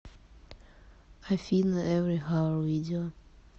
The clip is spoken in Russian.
афина эври хаур видео